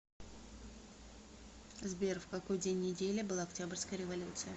сбер в какой день недели была октябрьская революция